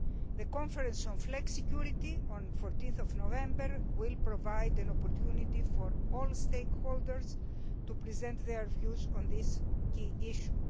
The conference on flexicurity on 14 November will provide an opportunity for all stakeholders to present their views on this key issue.